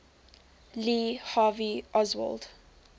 lee harvey oswald